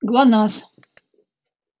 гланасс